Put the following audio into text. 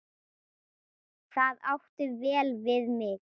Það átti vel við mig.